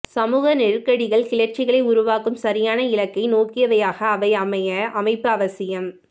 சமூக நெருக்கடிகள் கிளர்ச்சிகளை உருவாக்கும் சரியான இலக்கை நோக்கியவையாக அவை ஆக அமைப்பு அவசியம்